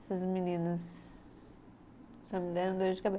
Essas meninas. Só me deram dor de cabe